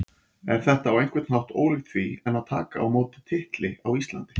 Er þetta á einhvern hátt ólíkt því en að taka á móti titli á Íslandi?